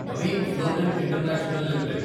Naveen fluorine international limited